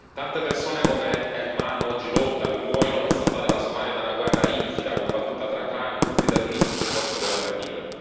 Tante persone come Elman oggi lottano e muoiono per salvare la Somalia da una guerra infida combattuta tra clan, gruppi terroristici e forze governative.